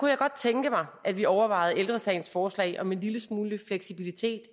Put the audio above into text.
jeg godt tænke mig at vi overvejede ældre sagens forslag om en lille smule fleksibilitet